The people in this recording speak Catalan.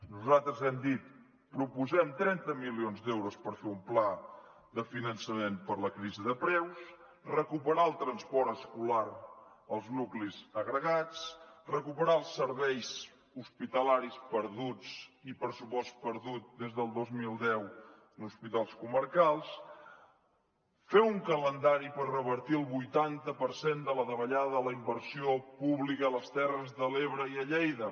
nosaltres hem dit proposem trenta milions d’euros per fer un pla de finançament per la crisi de preus recuperar el transport escolar als nuclis agregats recuperar els serveis hospitalaris perduts i pressupost perdut des del dos mil deu en hospitals comarcals fer un calendari per revertir el vuitanta per cent de la davallada de la inversió pública a les terres de l’ebre i a lleida